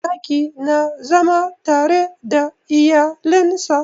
Zaki na zama tare da iyalen sa.